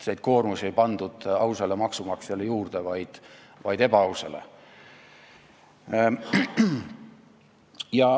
Koormust ei pandud juurde ausale maksumaksjale, vaid ebaausale.